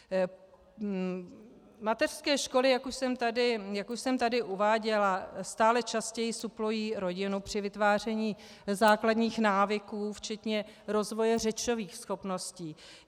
Mateřské školy, jak už jsem tady uváděla, stále častěji suplují rodinu při vytváření základních návyků, včetně rozvoje řečových schopností.